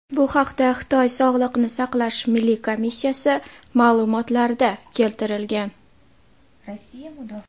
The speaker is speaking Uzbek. Bu haqda Xitoy Sog‘liqni saqlash milliy komissiyasi ma’lumotlarida keltirilgan .